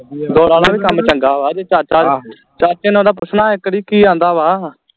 ਡੋਰਾ ਦਾ ਵੀ ਕੰਮ ਚੰਗਾ ਵਾ ਜੇ ਚਾਚਾ ਚਾਚੇ ਨੂੰ ਉਦਾ ਪੁੱਛਣਾ ਇਕ ਵਾਰੀ ਕਿ ਆਂਦਾ ਵਾ